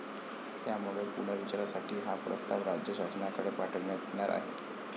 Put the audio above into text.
त्यामुळे पुनर्विचारासाठी हा प्रस्ताव राज्य शासनाकडे पाठवण्यात येणार आहे.